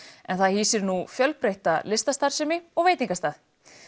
en það hýsir nú fjölbreytta listastarfsemi og veitingastað